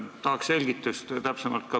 Tahaks täpsemat selgitust.